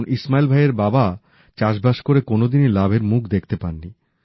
কারণ ইসমাইল ভাইয়ের বাবা চাষবাস করে কোনোদিনই লাভের মুখ দেখতে পাননি